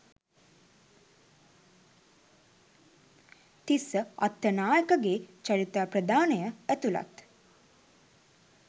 තිස්ස අත්තනායකගේ චරිතාප්‍රදානය ඇතුලත්